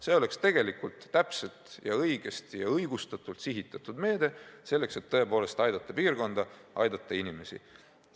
See oleks täpselt, õigesti ja õigustatult sihitatud meede selleks, et tõepoolest aidata piirkonda, aidata inimesi.